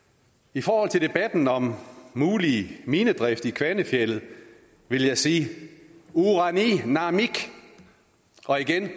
i forhold til debatten om mulig minedrift i kvanefjeldet vil jeg sige urani naamik og igen